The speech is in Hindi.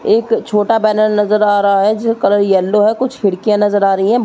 एक छोटा बैनर नज़र आ रहा है जिसका कलर येलो है। कुछ खिड़कियाँ नज़र आ रही हैं। म --